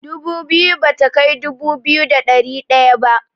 Dubu biyu bata kai dubu biyu da ɗari ɗaya ba.